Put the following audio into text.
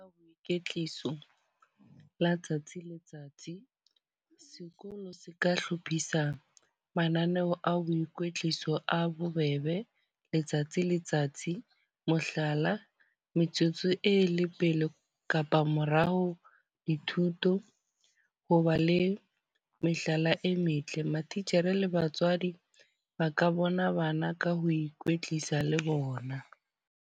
Kwetliso la tsatsi le letsatsi. Sekolo se ka hlophisang mananeo a boikwetliso a bobebe letsatsi letsatsi. Mohlala, metsotso e le pele kapa morao, dithuto, ho ba le mehlala e metle. Matitjhere le batswadi ba ka bona bana ka ho ikwetlisa le bona.